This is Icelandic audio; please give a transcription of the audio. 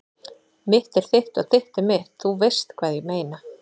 Mitt er þitt og þitt er mitt- þú veist hvað ég meina.